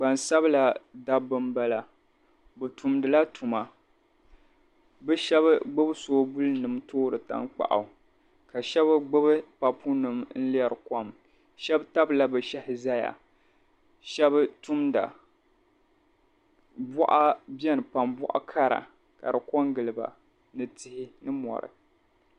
Gbansabila dabba m-bala bɛ tumdila tuma bɛ shɛba gbibi soobulinima toori taŋkpaɣu ka shɛba gbibi papunima n-lɛri kom. Shɛba tabila bɛ shɛhi zaya shɛba tumda bɔɣa beni pam bɔɣ' kara ka di kɔŋgili ba ni tihi ni mɔri.